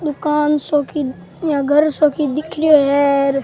दुकान सो की या घर सो की दिख रेहो है और --